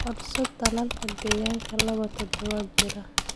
Codso tallaalka digaagga laba toddobaad jira.